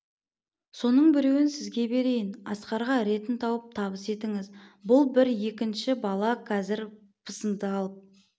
соның біреуін сізге берейін асқарға ретін тауып табыс етіңіз бұл бір екінші бала кәзір пысыды алып